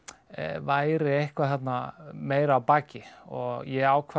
væri eitthvað þarna meira að baki og ég ákvað